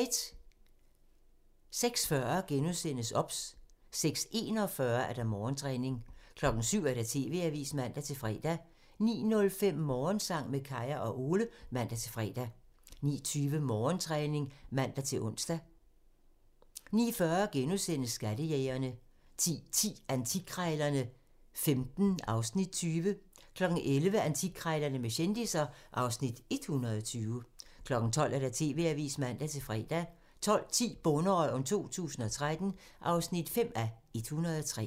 06:40: OBS * 06:41: Morgentræning 07:00: TV-avisen (man-fre) 09:05: Morgensang med Kaya og Ole (man-fre) 09:20: Morgentræning (man-ons) 09:40: Skattejægerne * 10:10: Antikkrejlerne XV (Afs. 20) 11:00: Antikkrejlerne med kendisser (Afs. 120) 12:00: TV-avisen (man-fre) 12:10: Bonderøven 2013 (5:103)